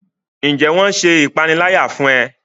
Njé wón ṣe ìpaniláyà fún e?